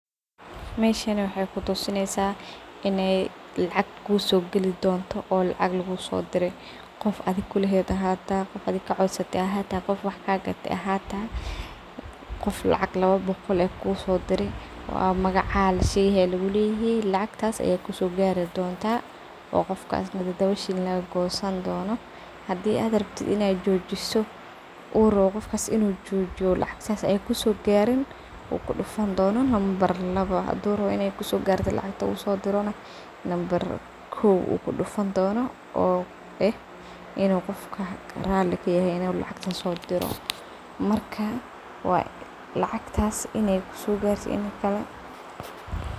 Meshan waxey kutusineysaa iney lacag kusogalii doonto oo lacag lagusodiray qof adii kulaheed ahata qof adii kacodsatay ahata qof wax kagatay ahata qof lacag laba boqol ah kusodiray oo an magaca lashege lagu dihin lacagtas Aya kusogaari doonta wa qofka midii toban shilling lagagoosan doono hadii aad rabto inad joojiso u rabo qofkas inuu joojiyo lacag sas ayeey kusogaarin u kudufan doono lambar laabo haduu rabo iney kusogarto lacagta u sodirana lambar kow u kudufan doono oo ah inuu qofka raali kayahay inuu lacagto sodiroo marka lacagtas ineey kusogartay iyo iin kale.